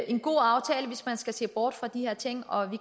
en god aftale hvis man ser bort fra de her ting og